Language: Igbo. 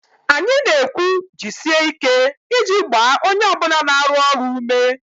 Anyị na-ekwu 'jisie ike' iji gbaa onye ọ bụla na-arụ ọrụ ume